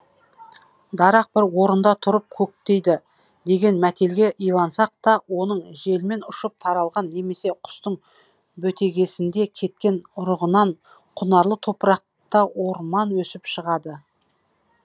дарақ бір орында тұрып көктейді деген мәтелге илансақ та оның желмен ұшып таралған немесе құстың бөтегесінде кеткен ұрығынан құнарлы топырақта орман өсіп шығады